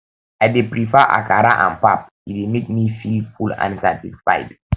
i dey prefer akara and pap e dey make me feel full and satisfied